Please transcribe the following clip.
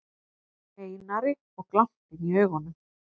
Einari og glampinn í augunum.